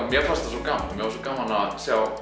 mér fannst svo gaman að sjá